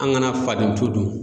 An kana faden to dun.